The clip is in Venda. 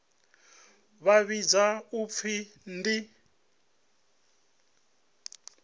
vha vhidzwa u pfi ndi